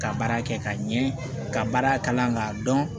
Ka baara kɛ ka ɲɛ ka baara kalan k'a dɔn